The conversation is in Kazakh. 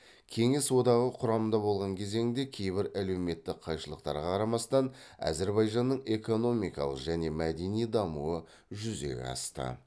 кеңес одағы құрамында болған кезеңде кейбір әлеуметтік қайшылықтарға қарамастан әзірбайжанның экономикалық және мәдени дамуы жүзеге асты